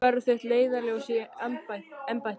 Hvað verður þitt leiðarljós í embætti?